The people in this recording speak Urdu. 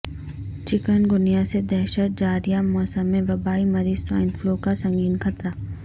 چکون گنیا سے دہشت جاریہ موسم میں وبائی مرض سوائن فلو کا سنگین خطرہ